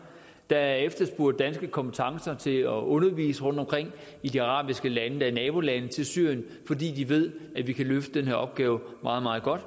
der er efterspurgt danske kompetencer til at undervise rundtomkring i de arabiske lande der er nabolande til syrien fordi de ved at vi kan løfte den her opgave meget meget godt